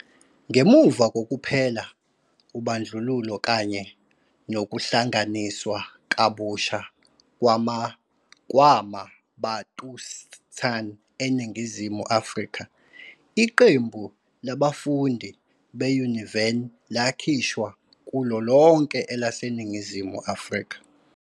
Ngemuva kokuphela Ubandlululo kanye nokuhlanganiswa kabusha kwama-bantustan eNingizimu Afrika, iqembu labafundi be-Univen lakhishwa kulo lonke elaseNingizimu Afrika.